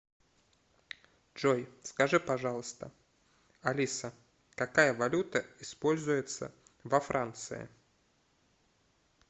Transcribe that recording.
джой скажи пожалуйста алиса какая валюта используется во франции